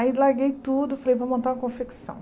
Aí, larguei tudo, falei, vou montar uma confecção.